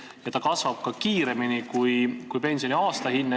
Ja see kasvab kiiremini kui pensioni aastahinne.